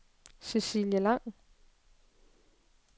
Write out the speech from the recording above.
Cecilie Lang